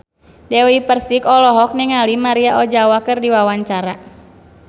Dewi Persik olohok ningali Maria Ozawa keur diwawancara